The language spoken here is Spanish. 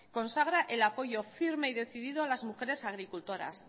consagra el apoyo firme y decidido a las mujeres agricultoras